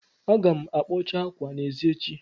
Aga m akpọcha ákwâ a n'èzí echi